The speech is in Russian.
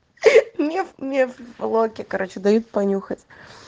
меф меф в блоке короче дают понюхать